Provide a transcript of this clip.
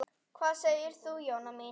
Hvað segir þú, Jóna mín?